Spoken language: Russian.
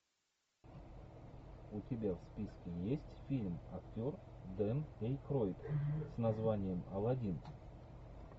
у тебя в списке есть фильм актер дэн эйкройд с названием аладдин